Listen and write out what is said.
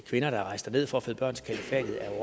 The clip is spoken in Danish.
kvinder der er rejst derned for at føde børn til kalifatet er jeg